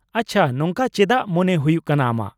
-ᱟᱪᱪᱷᱟ ᱾ ᱱᱚᱝᱠᱟ ᱪᱮᱫᱟᱜ ᱢᱚᱱᱮ ᱦᱩᱭᱩᱜ ᱠᱟᱱᱟ ᱟᱢᱟᱜ ?